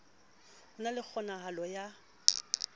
ho na le kgonahalo ya